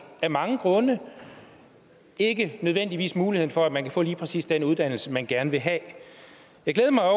af mange grunde ikke nødvendigvis muligheden for at man kan få lige præcis den uddannelse man gerne vil have jeg glæder mig